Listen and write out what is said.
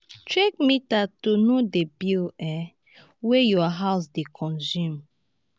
check meter to know di bills um wey your house dey consume